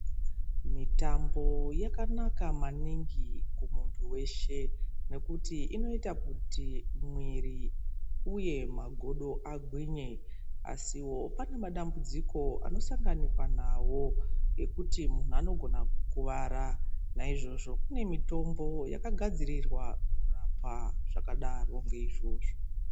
Mitambo yakanaka maningi kumuntu weshe nekuti inoita kuti mwiri uye magodo agwinye asiwo pane madambudziko anosanganiwa nawo ekuti muntu anogona kukuwara naizvozvo kune mitombo yaakagadzirirwa kurapa zvakadaro ngeizvozvo.